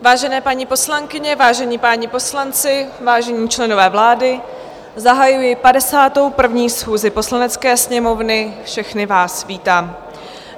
Vážené paní poslankyně, vážení páni poslanci, vážení členové vlády, zahajuji 51. schůzi Poslanecké sněmovny, všechny vás vítám.